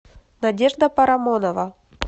надежда парамонова